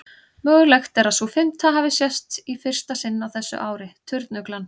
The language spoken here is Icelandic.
Mögulegt er að sú fimmta hafi sést í fyrsta sinn á þessu ári, turnuglan.